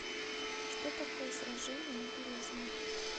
что такое сражение на березине